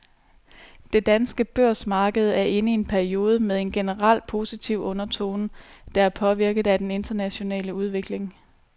Det danske børsmarked er inde i en periode med en generelt positiv undertone, der er påvirket af den internationale udvikling.